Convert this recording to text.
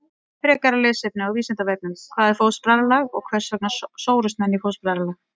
Frekara lesefni á Vísindavefnum: Hvað er fóstbræðralag og hvers vegna sórust menn í fóstbræðralag?